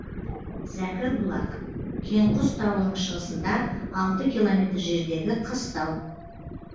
зәкірбұлақ кеңқұс тауының шығысында алты километр жердегі қыстау